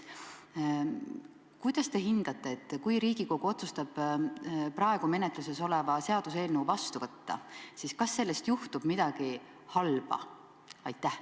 Kuidas te hindate: kui Riigikogu otsustab praegu menetluses oleva seaduseelnõu vastu võtta, kas sellest juhtub midagi halba?